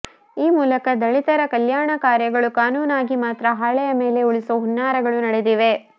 ಈ ಮೂಲಕ ದಲಿತರ ಕಲ್ಯಾಣ ಕಾರ್ಯಗಳು ಕಾನೂನಾಗಿ ಮಾತ್ರ ಹಾಳೆಯ ಮೇಲೆ ಉಳಿಸುವ ಹುನ್ನಾರಗಳು ನಡೆದಿವೆ